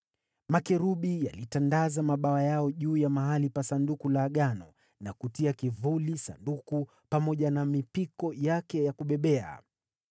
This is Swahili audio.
Makerubi yalitandaza mabawa yao juu ya mahali pa Sanduku la Agano na kutia kivuli Sanduku pamoja na mipiko yake ya kubebea.